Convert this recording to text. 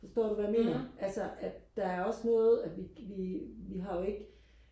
forstår du hvad jeg mener altså at der er også noget at vi vi har jo ikke